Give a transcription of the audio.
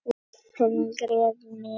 Klaufhamarinn gref ég niður.